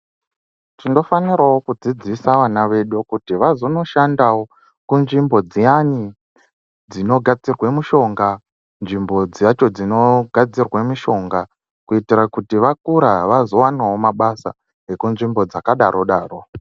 Tinofanirawo kudzidzisa vana vedu kuti vazonoshandawo kunzvimbo dziyani dzinogadzirwa mishonga nzvimbo dzacho dzinogadzirwa mishonga kuitira kuti vamura vazowanawo mabasa ekunzvimbo dzakadaro daro.